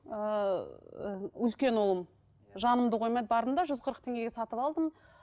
ыыы үлкен ұлым жанымды қоймай бардым да жүз қырық теңгеге сатып алдым